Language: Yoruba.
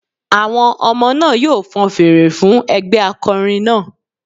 Àwọn ọmọ náà yóò fan fèrè fún ẹgbẹ́ akọrin náà